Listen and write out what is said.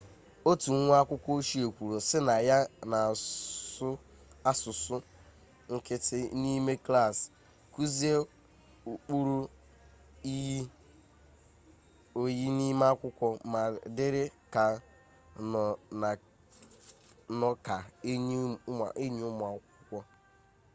otu nwa akwukwo ochie kwuru si na ya 'na-asu asusu nkiti nime klassi kuzie ukpuru iyi-oyi nime akwukwo ma diri ka nno ka enyi umu akwukwo'